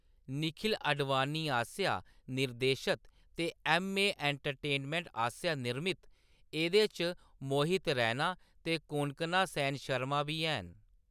निखिल आडवाणी आस्सेआ निर्देशित ते एम्मे एंटरटेनमेंटआस्सेआ निर्मित, एह्‌‌‌दे च मोहित रैना ते कोंकणा सेन शर्मा बी हैन।